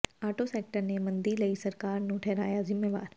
auto sector ਨੇ ਮੰਦੀ ਲਈ ਸਰਕਾਰ ਨੂੰ ਠਹਿਰਾਇਆ ਜ਼ਿੰਮੇਵਾਰ